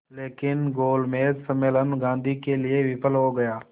लेकिन गोलमेज सम्मेलन गांधी के लिए विफल हो गया